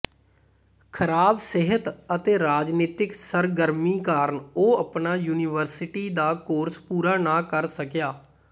ਖਰਾਬ ਸਿਹਤ ਅਤੇ ਰਾਜਨੀਤਿਕ ਸਰਗਰਮੀ ਕਾਰਨ ਉਹ ਆਪਣਾ ਯੂਨੀਵਰਸਿਟੀ ਦਾ ਕੋਰਸ ਪੂਰਾ ਨਾ ਕਰ ਸਕਿਆ